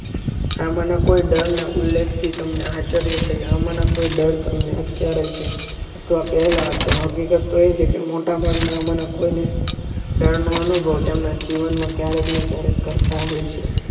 આમાંનો કોઈ ડર ને ઉલ્લેખ થી તમને આચાર્ય થઇ આમાંનો ડર તમને અત્યારે ક્યારે છે જો આ પહેલા હતું હકીકત તો એ છેકે મોટા ભાગના આમાંના કોને ડરનો અનુભવ એમના જીવનમાં ક્યારેક ને ક્યારેક કરતા હોય છે